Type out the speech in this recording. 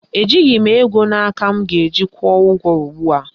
Ejighị m ego na aka m ga-eji kwụọ ụgwọ ugbua